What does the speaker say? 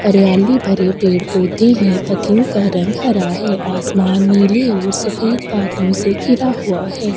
अरियाली भरे पेड़-पौधे हैं पतियों का रंग हरा है आसमान नीले और सफेद बादलों से घिरा हुआ है।